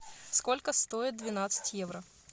сколько стоит двенадцать евро